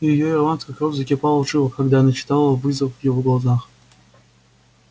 и её ирландская кровь закипала в жилах когда она читала вызов в его глазах